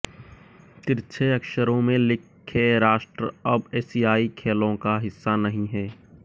तिरछे अक्षरों में लिखे राष्ट्र अब एशियाई खेलों का हिस्सा नहीं हैं